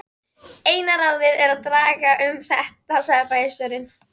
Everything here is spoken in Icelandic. Eina ráðið er að draga um þetta sagði bæjarstjórinn.